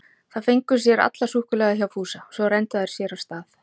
Þær fengu sér allar súkkulaði hjá Fúsa, svo renndu þær sér af stað.